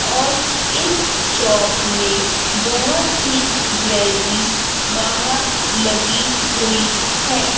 और इस शॉप में बहुत सी ज्वेलरीज बाहर लगी हुई है।